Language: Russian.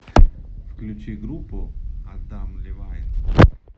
включи группу адам левайн